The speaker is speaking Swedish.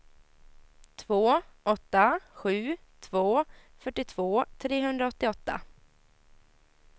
två åtta sju två fyrtiotvå trehundraåttioåtta